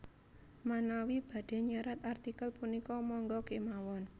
Manawi badhé nyerat artikel punika mangga kémawon